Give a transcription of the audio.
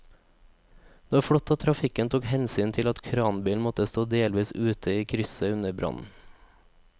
Det var flott at trafikken tok hensyn til at kranbilen måtte stå delvis ute i krysset under brannen.